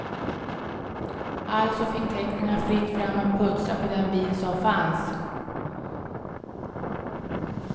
Alltså fick teknikerna fritt fram att putsa på den bil som fanns.